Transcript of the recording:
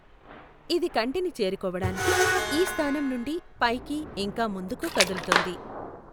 ఇది కంటిని చేరుకోవడానికి ఈ స్థానం నుండి పైకి ఇంకా ముందుకు కదులుతుంది.